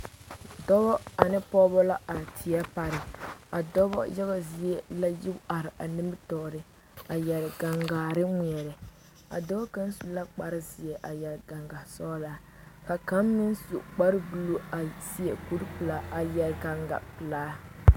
Dɔba ane pɔgeba la are teɛ pareŋ,a dɔba. yaga zie la yi are a nimitɔre a kyɛ yɛre gangaa ŋmeɛre a dɔɔ kaŋ su la kpare zeɛ a yɛre gangasɔglaa ka kaŋ meŋ su kpare buluu a seɛ kuri pɛlaa a yɛre gangan pelaa